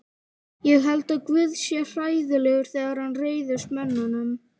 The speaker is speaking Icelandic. Ég held að guð sé hræðilegur þegar hann reiðist mönnunum.